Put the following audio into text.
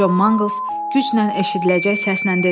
Co Manqls güclə eşidiləcək səslə dedi.